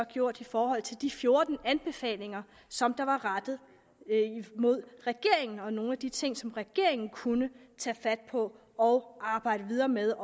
gjort i forhold til de fjorten anbefalinger som var rettet mod regeringen som nogle af de ting som regeringen kunne tage fat på og arbejde videre med